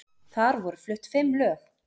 Þar voru flutt fimm lög